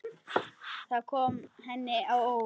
Það kom henni á óvart.